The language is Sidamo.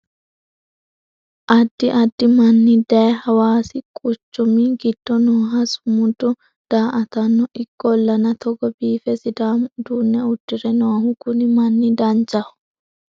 addi addi manni daye hawaasi quchumi giddo nooha sumuda daa"atanno ikkollana togo biife sidaamu uduunne uddire noohu kuni manni danchaho